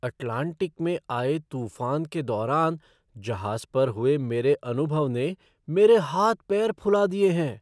Atlantic में आए तूफान के दौरान जहाज़ पर हुए मेरे अनुभव ने मेरे हाथ पैर फुला दिए हैं!